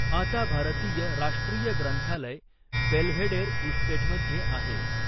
आता भारतीय राष्ट्रीय ग्रंथालय बेल्व्हेडेर इस्टेटमध्ये आहे.